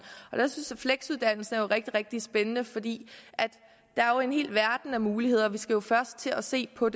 og der synes jeg at fleksuddannelse er rigtig rigtig spændende fordi der jo er en hel verden af muligheder vi skal først til at se på